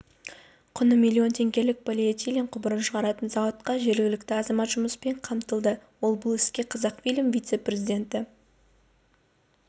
құны млн теңгелік полиэтилен құбырын шығаратын зауытта жергілікті азамат жұмыспен қамтылды ол бұл іске қазақфильм вице-президенті